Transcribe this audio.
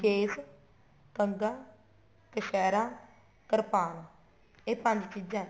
case kanga kachhera kirpan ਇਹ ਪੰਜ ਚੀਜ਼ਾਂ ਹੈ